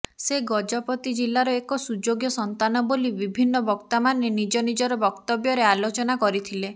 ସେ ଗଜପତି ଜିଲାର ଏକ ସୁଯୋଗ୍ୟ ସନ୍ତାନ ବୋଲି ବିଭିନ୍ନ ବକ୍ତାମାନେ ନିଜ ନିଜର ବକ୍ତବ୍ୟରେ ଆଲୋଚନା କରିଥିଲେ